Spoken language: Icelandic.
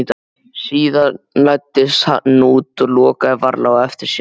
Síðan læddist hann út og lokaði varlega á eftir sér.